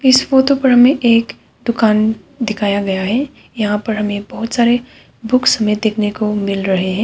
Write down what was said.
इस फोटो पर हमें एक दुकान दिखाया गया है यहां पर हमें बहुत सारे बुक्स में देखने को मिल रहे हैं।